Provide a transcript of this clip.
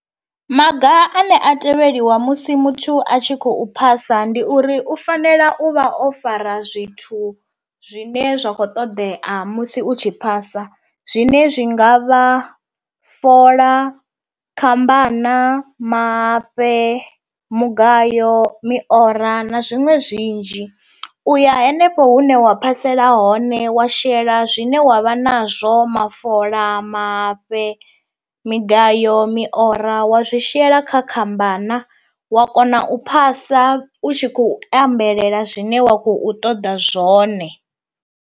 Maga ane a tevheliwa musi muthu a tshi khou phasa ndi uri u fanela u vha o fara zwithu zwine zwa kho ṱoḓea musi u tshi phasa, zwine zwi nga vha fola, khambana, mahafhe, mugayo, miora na zwiṅwe zwinzhi. Uya hanefho hune wa phasela hone wa shela zwine wa vha nazwo mafola, mahafhe, migayo, miora wa zwi shela kha khambana wa kona u phasa u tshi khou ambelela zwine wa khou ṱoḓa zwone.